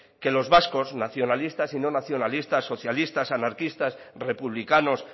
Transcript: que los vascos nacionalistas y no nacionalistas socialistas anarquistas republicanos